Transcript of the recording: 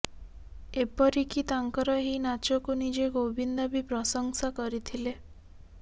ଏପରିକି ତାଙ୍କର ଏହି ନାଚକୁ ନିଜେ ଗୋବିନ୍ଦା ବି ପ୍ରଶଂସା କରିଥିଲେ